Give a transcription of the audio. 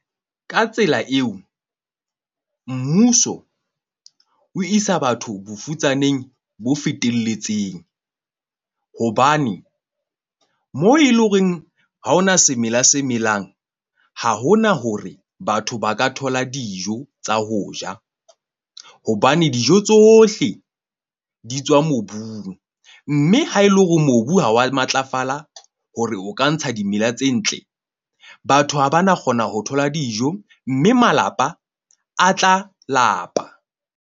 Ka tsela eo, mmuso o isa batho bofutsaneng bo feteletseng, hobane moo e leng horeng ha hona semela se melang, ha hona hore batho ba ka thola dijo tsa ho ja. Hobane dijo tsohle di tswa mobung, mme ha e le hore mobu ha wa matlafala hore o ka ntsha dimela tse ntle, batho ha ba na kgona ho thola dijo mme malapa a tla lapa.